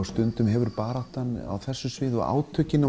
stundum hefur baráttan á þessu sviði og átökin